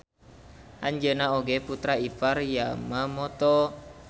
Anjeuna oge putra ipar Yamamoto.